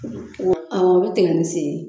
Aw o bi tigɛ ni sen ye